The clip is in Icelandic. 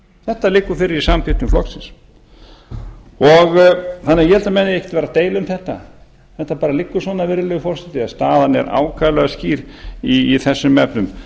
þetta liggur fyrir í samþykktum flokksins ég held að menn eigi ekkert að vera að deila um þetta þetta bara liggur svona virðulegur forseti að staðan er ákaflega skýr í þessum efnum